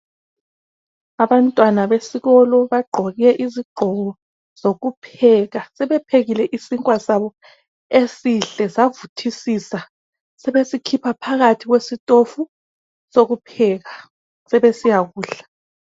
Abantwana besikolo bagqoke izigqoko zokupheka. Sebephekile isinkwa sabo esihle savuthisisa. Sebesikhipha phakathi kwesitofu, sokupheka sebesiya kudla.